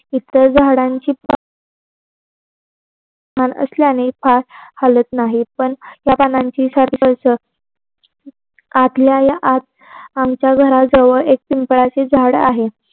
इतर झाडांची असल्याने हालत नाहीत पण त्या पानांची आतल्या या आत आमच्या घरा जवळ एक पिंपळाचे झाड आहे.